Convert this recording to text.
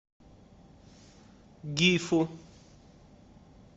гифу